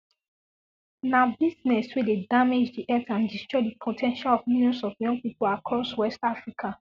na business wey dey damage di health and destroy di po ten tial of millions of young pipo across west africa